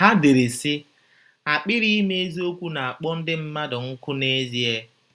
Ha dere, sị: “ Akpịrị ịma eziokwu na - akpọ ndị mmadụ nkụ n’ezie.